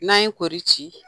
N'an ye kɔri ci